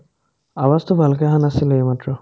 awaazটো ভালকে আহা নাছিলে এইমাত্ৰ